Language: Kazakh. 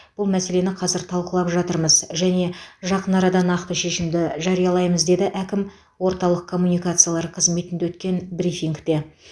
бұл мәселені қазір талқылап жатырмыз және жақын арада нақты шешімді жариялаймыз деді әкім орталық коммуникациялар қызметінде өткен брифингте